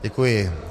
Děkuji.